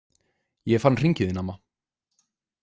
Ég fann hringinn þinn, amma.